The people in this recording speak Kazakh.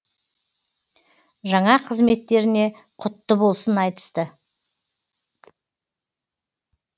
жаңа қызметтеріне құтты болсын айтысты